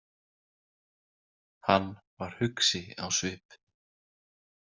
Hann var hugsi á svip.